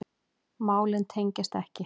Málin tengjast ekki.